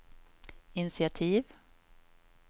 initiativ